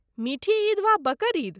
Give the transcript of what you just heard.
मिठी ईद वा बकर ईद?